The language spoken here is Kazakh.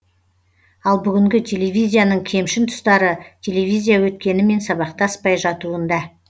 ал бүгінгі телевизияның кемшін тұстары телевизия өткенімен сабақтаспай жатуында